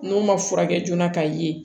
N'o ma furakɛ joona ka ye